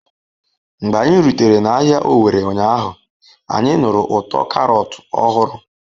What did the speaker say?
Mgbe anyị rutere n'ahịa Owerri ụnyaahụ, anyị nụrụ ụtọ Karọt ọhụrụ.